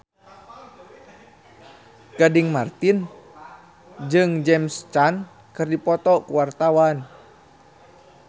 Gading Marten jeung James Caan keur dipoto ku wartawan